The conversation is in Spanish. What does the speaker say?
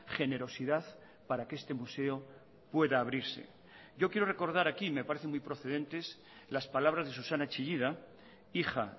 generosidad para que este museo pueda abrirse yo quiero recordar aquí me parece muy procedentes las palabras de susana chillida hija